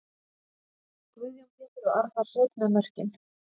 Guðjón Pétur og Arnar Sveinn með mörkin!